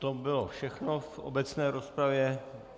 To bylo všechno v obecné rozpravě.